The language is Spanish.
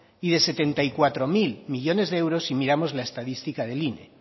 y de setenta y cuatro mil millónes de euros si miramos la estadística del ine